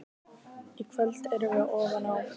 Í kvöld erum við ofan á.